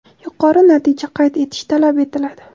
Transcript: yuqori natija qayd etish talab etiladi.